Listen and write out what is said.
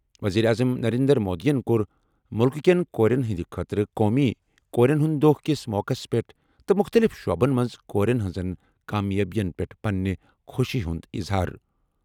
ؤزیٖرِ اعظم نَرینٛدر مودِین کوٚر مُلکہٕ کیٚن کوریٚن ہِنٛدِ خٲطرٕ قومی کوریٚن ہِنٛدِ دۄہ کِس موقعس پیٚٹھ تہٕ مُختٔلِف شعبن منٛز کورٮ۪ن ہِنٛزن کامیٲبِین پیٚٹھ پنٛنہِ خۄشی ہُنٛد اِظہار۔